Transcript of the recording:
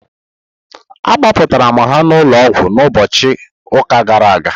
Agbapụrmtara ha n'ụlọọgwụ n'ụbọchị ụka gara aga.